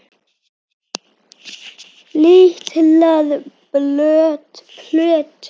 Litlar plötur